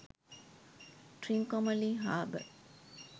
trincomalee habour